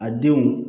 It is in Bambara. A denw